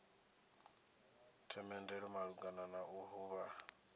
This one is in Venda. themendelo malugana na u huvhala